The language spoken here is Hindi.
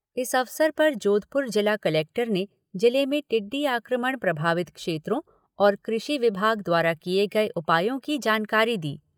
इस अवसर पर जोधपुर जिला कलेक्टर ने जिले में टिड्डी आक्रमण प्रभावित क्षेत्रों और कृषि विभाग द्वारा किए गए उपायों की जानकारी दी।